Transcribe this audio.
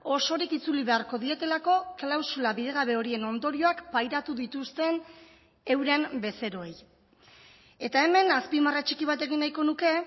osorik itzuli beharko dietelako klausula bidegabe horien ondorioak pairatu dituzten euren bezeroei eta hemen azpimarra txiki bat egin nahiko nuke